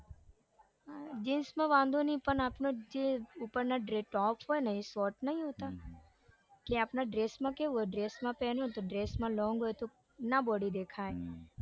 જીન્સમાં વાંધો નઈ પણ આપનો જે ઉપરનો top હોય ને એ short નઈ હોતા કે આપણા dress માં કેવું dress માં પેહન્યુ તો dress માં તો ના body દેખાય પણ